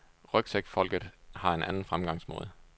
Rygsækfolket har en anden fremgangsmåde.